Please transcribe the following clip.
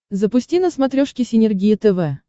запусти на смотрешке синергия тв